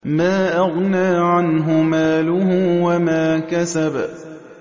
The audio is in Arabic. مَا أَغْنَىٰ عَنْهُ مَالُهُ وَمَا كَسَبَ